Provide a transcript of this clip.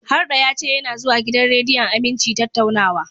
Harɗo ya ce yana zuwa gidan rediyon Aminci tattaunawa.